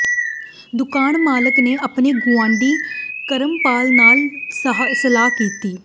ਦੁਕਾਨ ਮਾਲਕ ਨੇ ਆਪਣੇ ਗੁਆਂਢੀ ਕਰਮਪਾਲ ਨਾਲ ਸਲਾਹ ਕੀਤੀ